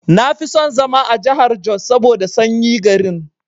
Nafi son zama a jahar jos saboda sanyi garin.